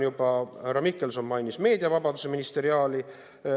Härra Mihkelson juba mainis meediavabaduse ministeriaali.